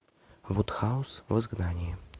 вудхаус в изгнании